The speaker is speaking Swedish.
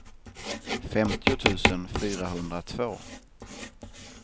femtio tusen fyrahundratvå